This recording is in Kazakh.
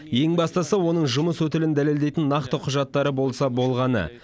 ең бастысы оның жұмыс өтілін дәлелдейтін нақты құжаттары болса болғаны